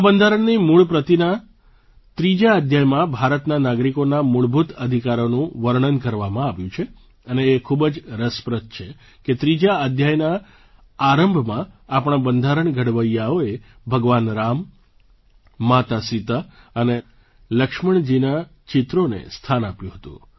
આ બંધારણની મૂળ પ્રતિના ત્રીજા અધ્યાયમાં ભારતના નાગરિકોના મૂળભૂત અધિકારોનું વર્ણન કરવામાં આવ્યું છે અને એ ખૂબ જ રસપ્રદ છે કે ત્રીજા અધ્યાયના આરંભમાં આપણા બંધારણ ઘડવૈયાઓએ ભગવાન રામ માતા સીતા અને લક્ષ્મણજીનાં ચિત્રોને સ્થાન આપ્યું હતું